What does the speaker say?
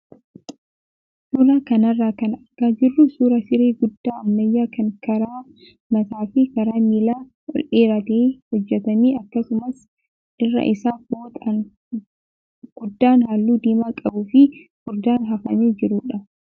Suuraa kanarraa kan argaa jirru suuraa siree guddaa ammayyaa kan karaa mataa fi karaa miilaa ol dheeratee hojjatame akkasumas irra isaa fooxaan guddaan halluu diimaa qabuu fi furdaan hafamee jirudha.